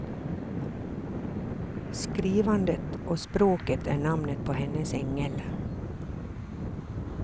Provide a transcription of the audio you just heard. Skrivandet och språket är namnet på hennes ängel.